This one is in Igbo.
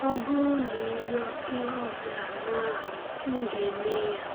“Ọ bụrụ na ị rịọ ihe ọ bụla n’aha m, m ga-eme ya.”